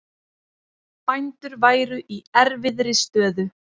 Bændur væru í erfiðri stöðu